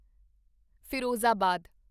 Firozabad